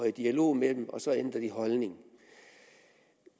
i dialog med dem og så ændrer de holdning